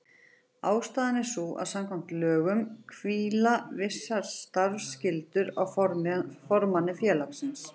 Ástæðan er sú að samkvæmt lögum hvíla vissar starfsskyldur á formanni félagsins.